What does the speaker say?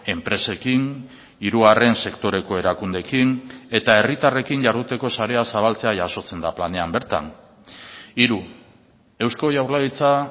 enpresekin hirugarren sektoreko erakundeekin eta herritarrekin jarduteko sarea zabaltzea jasotzen da planean bertan hiru eusko jaurlaritza